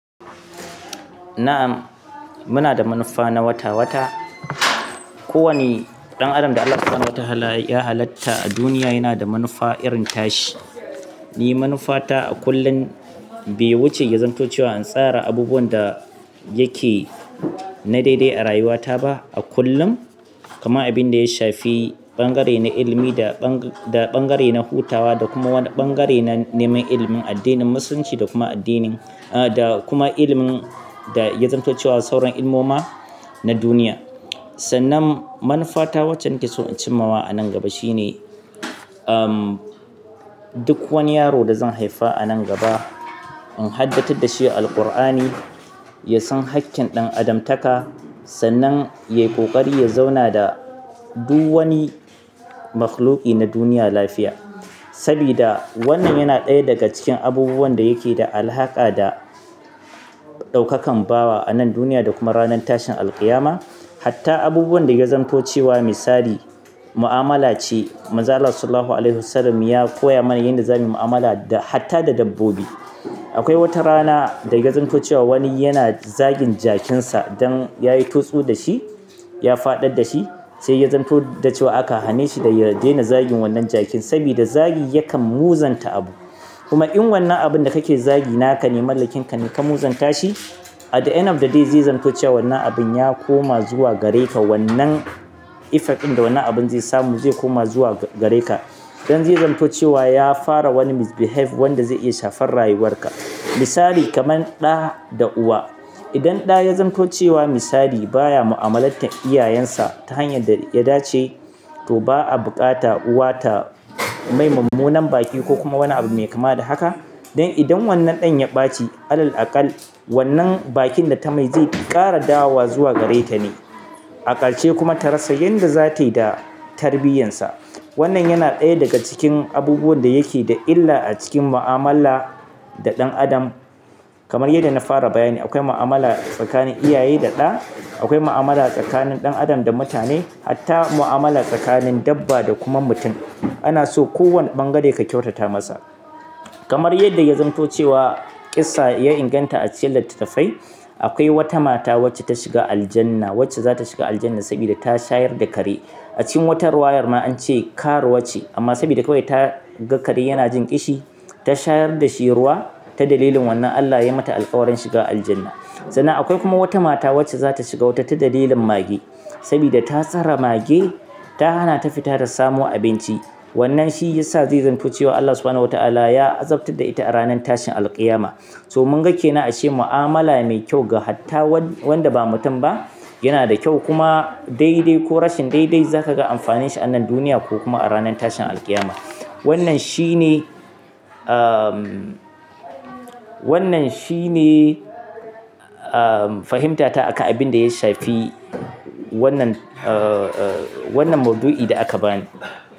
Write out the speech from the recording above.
Na'am, muna da manufa na wata-wata. Kowane ɗan adam da Allah Subhanahu wa Ta'ala ya halatta a duniya yana da manufa irin tashi. Ni manufata a kullum be wuce ya zanto cewa in tsara abubuwan da yake na daidai a rayuwata ba a kullum, kama abin da ya shafi ɓangare na ilimi da, da ɓangare na hutawa da kuma wani ɓangare na neman ilimin addinin musulunci da kuma addinin, ah, da kuma ilimin da ya zanto cewa sauran ilmoma na duniya. Sannan manufata waccen ke so in cimawa a nan gaba shine, um, duk wani yaro da zan haifa a nan gaba in haɗattatar da shi Alqur'ani, ya san haƙƙin ɗan adamtaka, sannan ya yi ƙoƙari ya zauna da duk wani makhluqi na duniya lafiya. Sabida wannan yana ɗaya daga cikin abubuwan da yake da alhaka da ɗaukakan bawa a nan duniya da kuma ranar tashin alqiyama. Hatta abubuwan da ya zamto cewa misali mu'amala ce, mazan Rasullullah Sallallahu Alaihi Wasallam ya koya mana yanda zamuyi mu'amala da hatta da dabbobi. Akwai wata rana da ya zamto cewa wani yana zagin jakinsa don yayi totsu da shi, ya faɗa da shi, sai ya zanto da cewa aka hane shi da ya daina zagin wannan jakin sabida zagi yakan muzanta abu. Kuma in wannan abun da kake zagi naka ne, mallakinka ne, ka muzanta shi, at the end of the day zai zanto cewa wannan abin ya koma zuwa gare ka wannan effect ɗin da wannan abun zai samu zai koma zuwa gare ka. Idan zai zanto cewa ya fara wani misbehave wanda zai iya shafar rayuwarka. Misali kamar ɗa da uwa. Idan ɗa ya zanto cewa misali baya mu'amalar iyayensa ta hanyar da ya dace, to ba a buƙata uwata mai mummunan baki ko kuma wani abu mai kama da haka. Don idan wannan ɗan ya ɓaci, ALLAH alƙalla wannan bakin da ta mai zai ƙara dawowa zuwa gare ta ne. Akarshe kuma ta rasa yadda za ta yi da tarbiyyansa. Wannan yana ɗaya daga cikin abubuwan da yake da illa a cikin mu'amala da ɗan adam. Kamar yadda na fara bayani, akwai mu'amala tsakanin iyaye da ɗa, akwai mu'amala tsakanin ɗan adam da mutane, hatta mu'amala tsakanin dabba da kuma mutum. Ana so kowane ɓangare ka kyautata masa. Kamar yadda ya zamto cewa ƙissa ya inganta a ce littattafai, akwai wata mata wacce ta shiga Aljannah, wacce za ta shiga Aljannah sabida ta shayar da kare. A cikin wata rawayar ma an ce karuwa ce amma sabida kawai ta ga kare yana jin ƙishi, ta shayar da shi ruwa ta dalilin wannan Allah yayi mata alƙawarin shiga Aljannah. Sannan akwai kuma wata mata wacce za ta shiga wata ta dalilin mage sabida ta tsare mage ta hana ta fita da samu abinci. Wannan shi ya sa zai zamto cewa ALLAH Subhana wa Ta'ala ya azabtar da ita a ranar tashin alqiyama. So mun gake nan a ashe mu'amala mai kyau ga hatta wanda ba mutum ba yana da kyau kuma daidai ko rashin daidai zaka ga amfanin shi a nan duniya ko kuma a ranar tashin alqiyama. Wannan shi ne, um, wannan shi ne, um, fahimtata aka abin da ya shafi wannan, uh, wannan mawdu'i da aka bani.